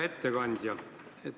Hea ettekandja!